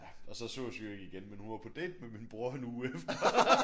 Og så sås vi jo ikke igen men hun var på date med min bror en uge efter